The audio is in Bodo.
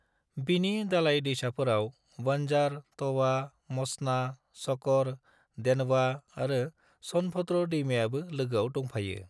बिनि दालाय दैसाफोराव बंजार, तवा, मचना, शकर, देनवा आरो सोनभद्र दैमायाबो लोगोआव दंफायो।